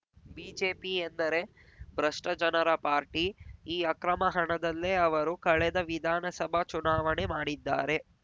BJP ಎಂದರೆ ಭ್ರಷ್ಟಜನರ party ಈ ಅಕ್ರಮ ಹಣದಲ್ಲೇ ಅವರು ಕಳೆದ ವಿಧಾನಸಭಾ ಚುನಾವಣೆ ಮಾಡಿದ್ದಾರೆ